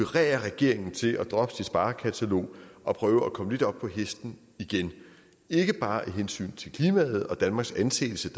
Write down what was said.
regeringen til at droppe sit sparekatalog og prøve at komme lidt op på hesten igen ikke bare af hensyn til klimaet og danmarks anseelse